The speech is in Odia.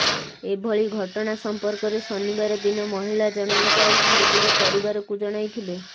ଏଭଳି ଘଟଣା ସମ୍ପର୍କରେ ଶନିବାର ଦିନ ମହିଳା ଜଣଙ୍କ ନିଜର ପରିବାରକୁ ଜଣାଇଥିଲେ